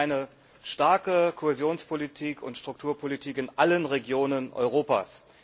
Wir wollen eine starke Kohäsionspolitik und Strukturpolitik in allen Regionen Europas.